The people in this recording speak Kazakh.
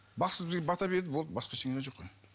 бақсы бізге бата берді болды басқа ештеңе деген жоқ қой